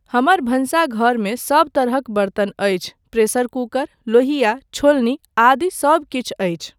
हमर भानसघरमे सब तरहक बर्तन अछि, प्रेशर कुकर, लोहिया, छोलनी आदि सब किछु अछि।